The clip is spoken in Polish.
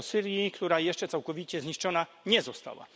Mówi się o Syrii, która jeszcze całkowicie zniszczona nie została.